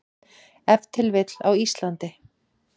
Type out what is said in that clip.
Ef til vill á Íslandi.